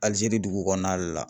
ALIZERI dugu kɔnɔna de la.